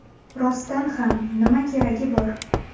Rostdan ham, nima keragi bor?